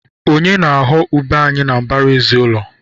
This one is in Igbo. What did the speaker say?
Onye na-aghọ ube anyị na mbaraezi ụlọ?